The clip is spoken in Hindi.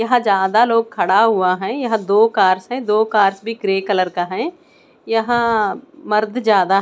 यहाँ जादा लोग खड़ा हुआ है यह दो कारस है दो कार्स भी ग्रे कलर का है यहाँ मर्द जादा --